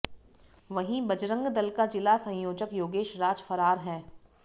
वहीं बजरंग दल का जिला संयोजक योगेश राज फरार है